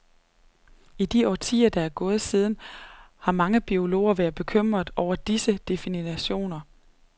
I de årtier, der er gået siden, har mange biologer været bekymrede over disse definitioner.